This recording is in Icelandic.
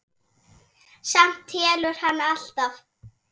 Samt telur hann alltaf.